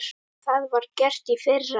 Það var gert í fyrra.